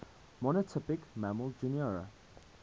monotypic mammal genera